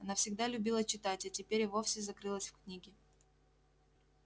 она всегда любила читать а теперь и вовсе зарылась в книги